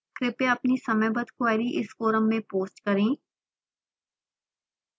कृपया अपनी समयबद्ध queries इस forum में post करें